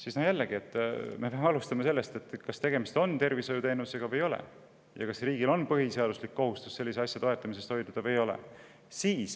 Alustame jälle sellest küsimusest, et kas tegemist on tervishoiuteenusega või ei ole ja kas riigil on põhiseaduslik kohustus sellise asja toetamisest hoiduda või ei ole.